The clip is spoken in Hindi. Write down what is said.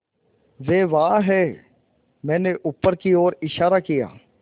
वे वहाँ हैं मैंने ऊपर की ओर इशारा किया